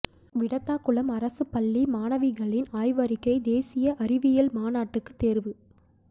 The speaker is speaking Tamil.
விடத்தாகுளம் அரசுப் பள்ளி மாணவிகளின் ஆய்வறிக்கை தேசிய அறிவியல் மாநாட்டுக்குத் தோ்வு